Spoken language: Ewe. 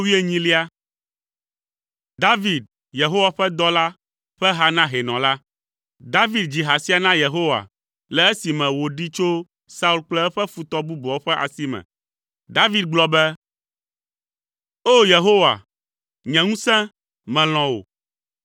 David, Yehowa ƒe dɔla, ƒe ha na hɛnɔ la. David dzi ha sia na Yehowa le esime wòɖee tso Saul kple eƒe futɔ bubuawo ƒe asi me. David gblɔ be: O! Yehowa, nye ŋusẽ, melɔ̃ wò.